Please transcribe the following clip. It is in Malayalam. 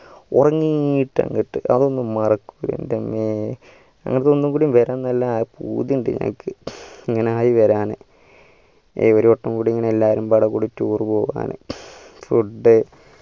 ഒറങ്ങീട്ട് അങ്ങട്ട് അതൊന്നും മറക്കൂല എൻ്റെ അമ്മേ അങ്ങനത്തെ ഒന്നുകൂടി വരാൻ നല്ല പൂതി ഇണ്ട എനിക്ക് ഇങ്ങനെ ആയി വരാന് ഇനി ഒരുവട്ടം കൂടി എല്ലാരുമപ്പാടെ കൂടി tour പോവാന് food